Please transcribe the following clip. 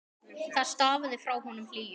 Það stafaði frá honum hlýju.